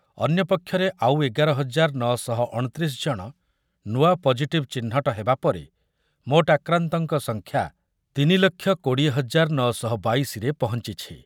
ଅନ୍ୟପକ୍ଷରେ ଆଉ ଏଗାର ହଜାର ନଅ ଶହ ଅଣତିରିଶ ଜଣ ନୂଆ ପଜିଟିଭ୍ ଚିହ୍ନଟ ହେବା ପରେ ମୋଟ ଆକ୍ରାନ୍ତଙ୍କ ସଂଖ୍ୟା ତିନି ଲକ୍ଷ କୋଡ଼ିଏ ହଜାର ନଅ ଶହ ବାଇଶିରେ ପହଞ୍ଚିଛି ।